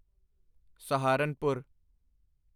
Saharanpur